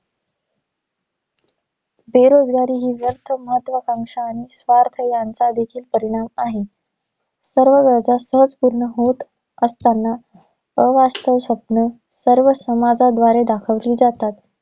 बेरोजगारी ही व्यर्थ महत्त्वाकांक्षा आणि स्वार्थ यांचा देखील परिणाम आहे. सर्व गरजा सहज पूर्ण होत असतांना, अवास्तव स्वप्न सर्व समाजाद्वारे दाखवली जातात.